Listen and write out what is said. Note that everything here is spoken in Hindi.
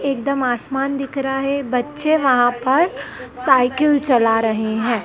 एकदम आसमान दिख रहा है बच्चे वहां पर साइकिल चला रहे है।